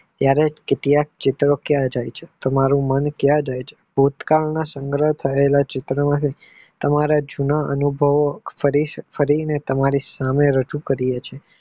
ત્યારે કેટલાક ચિત્રો તમારું મન ક્યાં જાય છે ભૂતકાળના સંગ્રહ કરેલા ચિત્ર તમારા જુના અનુભવો કરીને તમારી સામે રજુ કર્યો છે.